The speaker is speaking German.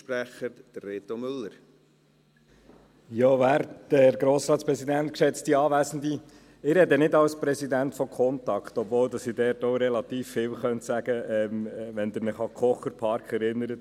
Ich spreche nicht als Präsident von Contact, obwohl ich diesbezüglich auch relativ viel sagen könnte, wenn Sie sich an den Kocherpark erinnern.